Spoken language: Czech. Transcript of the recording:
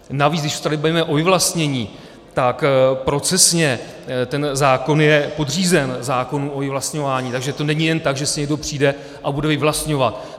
Navíc když se tady bavíme o vyvlastnění, tak procesně ten zákon je podřízen zákonu o vyvlastňování, takže to není jen tak, že si někdo přijde a bude vyvlastňovat.